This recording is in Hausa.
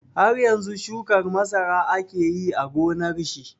Har yanzu shukar masara yake yi a gonar shi?